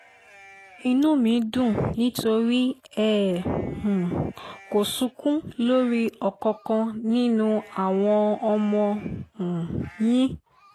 inú mi dùn nítorí ẹ um kò sunkún lórí ọ̀kánkán nínú àwọn ọmọ um yín